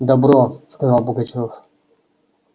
добро сказал пугачёв